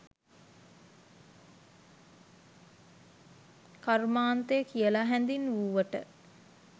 කර්මාන්තය කියලා හැඳින්වූවට